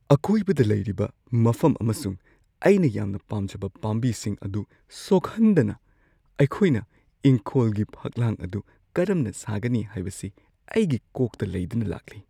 ꯑꯀꯣꯏꯕꯗ ꯂꯩꯔꯤꯕ ꯃꯐꯝ ꯑꯃꯁꯨꯡ ꯑꯩꯅ ꯌꯥꯝꯅ ꯄꯥꯝꯖꯕ ꯄꯥꯝꯕꯤꯁꯤꯡ ꯑꯗꯨ ꯁꯣꯛꯍꯟꯗꯅ ꯑꯩꯈꯣꯏꯅ ꯏꯪꯈꯣꯜꯒꯤ ꯐꯛꯂꯥꯡ ꯑꯗꯨ ꯀꯔꯝꯅ ꯁꯥꯒꯅꯤ ꯍꯥꯏꯕꯁꯤ ꯑꯩꯒꯤ ꯀꯣꯛꯇ ꯂꯩꯗꯨꯅ ꯂꯥꯛꯂꯤ꯫